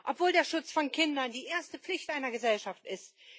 Obwohl der Schutz von Kindern die erste Pflicht einer Gesellschaft ist.